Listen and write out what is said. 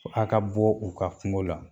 Aw ka bɔ u ka kungo la